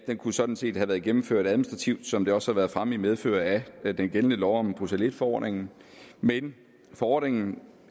kunne sådan set have været gennemført administrativt som det også har været fremme i medfør af den gældende lov om bruxelles i forordningen men forordningen